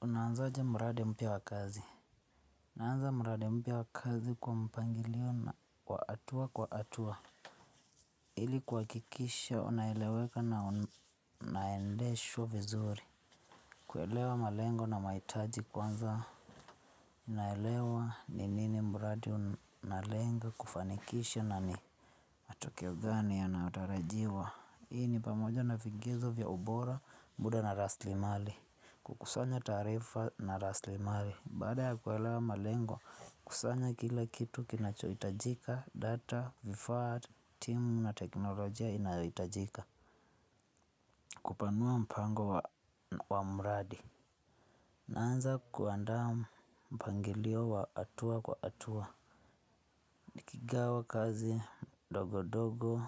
Una anza aje mradi mpya wa kazi. Unaanza mradi mpya wa kazi kwa mpangilio na kwa hatua kwa hatua. Ili kuhakikisha unaeleweka na unaendeshwa vizuri. Kuelewa malengo na mahitaji kwanza. Unaelewa ni nini mradi unalenga kufanikisha na ni. Tukio gani yanayo tarajiwa. Hii ni pamoja na fingizo vya ubora muda na raslimali. Kukusanya taarifa na raslimali. Baada ya kuelewa malengo, kusanya kila kitu kinachohitajika, data, vifaa, timu na teknolojia inayohitajika. Kupanua mpango wa mradi. Naanza kuandaa mpangilio wa hatua kwa hatua. Ni kigawa kazi dogo dogo,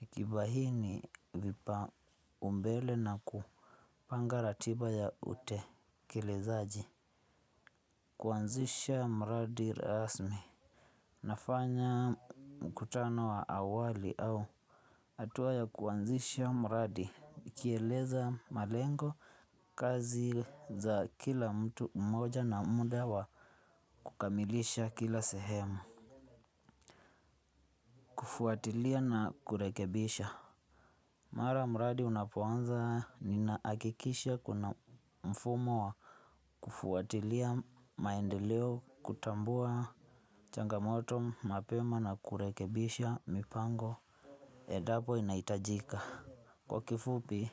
nikibaini vipaumbele na kupanga ratiba ya utekelezaji. Kuanzisha mradi rasmi. Nafanya mkutano wa awali au hatua ya kuanzisha mradi. Nikieleza malengo kazi za kila mtu mmoja na muda wa kukamilisha kila sehemu. Kufuatilia na kurekebisha. Mara mradi unapoanza ninahakikisha kuna mfumo wa kufuatilia maendeleo kutambua changamoto mapema na kurekebisha mipango. Edapo inahitajika. Kwa kifupi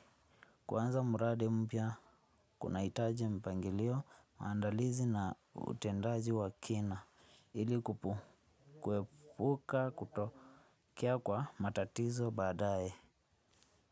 kuanza mradi mpya kunahitaji mpangilio maandalizi na utendaji wa kina. Ili kuepuka kutokea kwa matatizo baada ye.